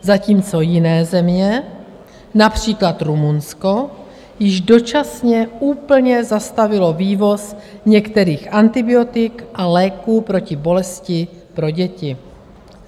Zatímco jiné země, například Rumunsko, již dočasně úplně zastavily vývoz některých antibiotik a léků proti bolesti pro děti.